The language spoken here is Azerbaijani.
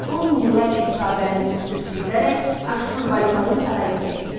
On minlərlə kitabənin üzü köçürülərək Aşşurbanipalın sarayına gətirilir.